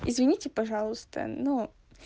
извините пожалуйста но